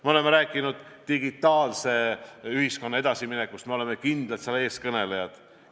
Me oleme rääkinud digitaalse ühiskonna edasiminekust, me oleme kindlalt selle eestkõnelejad.